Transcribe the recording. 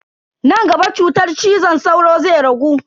Nan gaba cutar cizon sauro zai ragu.